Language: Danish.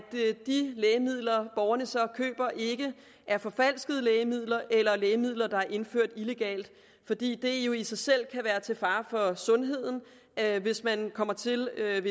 de lægemidler borgerne så køber ikke er forfalskede lægemidler eller lægemidler der er indført illegalt fordi det jo i sig selv kan være til fare for sundheden hvis man ved kommer til at